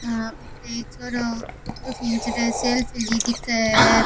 आ ई छोरो फोटो खिचरा सेल्फी ली दिखे है।